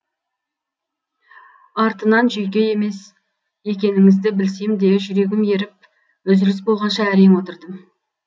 артынан жүйке емес екеніңізді білсем де жүрегім еріп үзіліс болғанша әрең отырдым